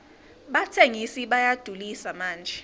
batsengisi bayadulisa manje